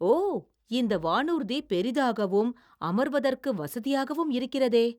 ஓ!! இந்த வானூர்தி பெரிதாகவும் அமர்வதற்கு வசதியாகவும் இருக்கிறதே!